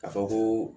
Ka fɔ ko